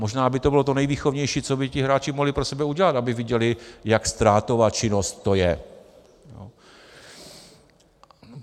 Možná by to bylo to nejvýchovnější, co by ti hráči mohli pro sebe udělat, aby viděli, jak ztrátová činnost to je.